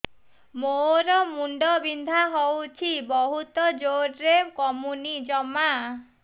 ମୋର ମୁଣ୍ଡ ବିନ୍ଧା ହଉଛି ବହୁତ ଜୋରରେ କମୁନି ଜମା